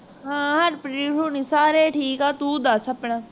ਹਾਂ ਹਰਪ੍ਰੀਤ ਹੋਣੇ ਸਾਰੇ ਠੀਕ ਹੈ ਤੂੰ ਦੱਸ ਆਪਣਾ